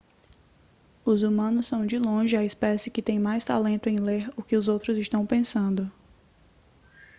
os humanos são de longe a espécie que tem mais talento em ler o que os outros estão pensando